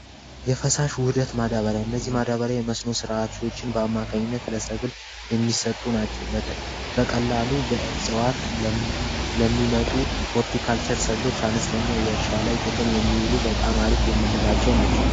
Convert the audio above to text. የፈሳሽ ውህደት ማዳበሪያ እዚህ ማዳበሪያ የመስኖ ስርዓቶችን በአማካኝነት ለሰብል የሚሰጡ ናቸው። በቀላሉ በእዋት ለሚመጡ ሆልቲካቸር ሰብሎች አነስተኛ የእርሻ ላይ ጥቅም የሚውሉ በጣም አሪፍ የምንላቸው ናቸው።